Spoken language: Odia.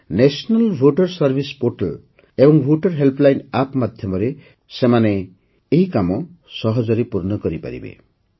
ନ୍ୟାସନାଲ ଭୋଟର ସର୍ଭାଇସ୍ ପୋର୍ଟାଲ ଏବଂ ଭୋଟର ହେଲ୍ପଲାଇନ୍ App ମାଧ୍ୟମରେ ସେମାନେ ଏହି କାମ ସହଜରେ ପୂର୍ଣ୍ଣ କରିପାରିବେ